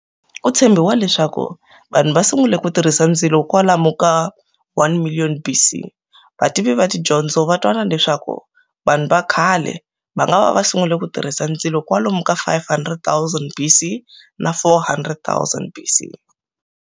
Kutshembiwa leswaku vanhu vasungule kutirhisa ndzilo kwalomu ka 1,000,000 BC, vativi vatidyondzo vatwanana leswaku vanhu vakhale vangava vasungule kutirhisa ndzilo kwalomu ka 500,000 BC na 400,000 BC.